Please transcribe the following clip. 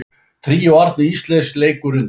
Tríó Árna Ísleifs leikur undir.